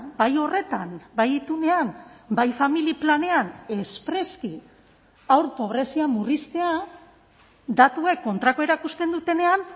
bai horretan bai itunean bai familia planean espreski haur pobrezia murriztea datuek kontrakoa erakusten dutenean